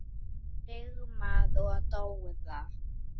Sigmar og Dóra.